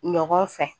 Ɲɔgɔn fɛ